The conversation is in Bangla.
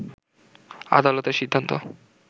আদালতের সিন্ধান্ত